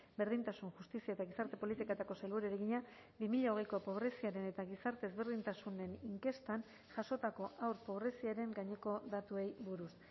berdintasun justizia eta gizarte politiketako sailburuari egina bi mila hogeiko pobreziaren eta gizarte ezberdintasunen inkestan jasotako haur pobreziaren gaineko datuei buruz